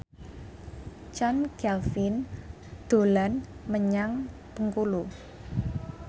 Chand Kelvin dolan menyang Bengkulu